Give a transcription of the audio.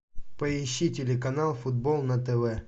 поищи телеканал футбол на тв